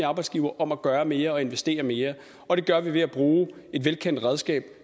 arbejdsgivere om at gøre mere og investere mere og det gør vi ved at bruge et velkendt redskab